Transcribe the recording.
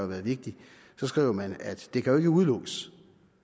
været vigtigt skriver man at det kan udelukkes